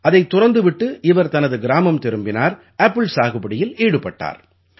அதைத் துறந்து விட்டு இவர் தனது கிராமம் திரும்பினார் ஆப்பிள் சாகுபடியில் ஈடுபட்டார்